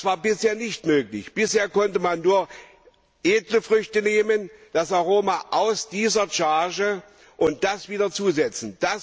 Das war bisher nicht möglich. Bisher konnte man nur edle Früchte nehmen das Aroma aus dieser Charge und das wieder zusetzen.